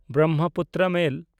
ᱵᱨᱚᱢᱢᱚᱯᱩᱛᱨᱚ ᱢᱮᱞ